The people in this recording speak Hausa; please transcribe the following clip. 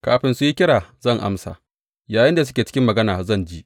Kafin su yi kira zan amsa; yayinda suke cikin magana zan ji.